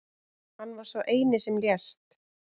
Hann var sá eini sem lést